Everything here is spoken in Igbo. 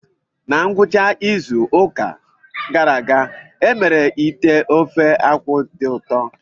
Na ngwụcha izu ụka gara aga, e mere ite ofe-akwu dị ụtọ.